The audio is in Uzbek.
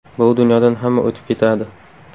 Bu dunyodan hamma o‘tib ketadi.